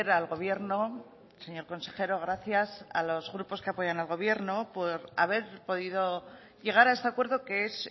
al gobierno señor consejero gracias a los grupos que apoyan al gobierno por haber podido llegar a este acuerdo que es